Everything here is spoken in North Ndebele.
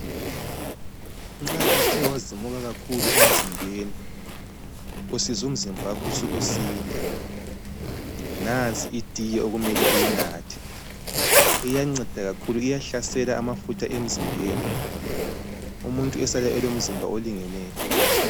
Nxa uthe wazimuka kakhulu emzimbeni, usizwa umzimba wakho usukusinda, nansi itiye omele uyinathe. Iyancedakakhulu, iyahlasela amafutha emzimbeni. Umuntu esale elomzimba olingeneyo.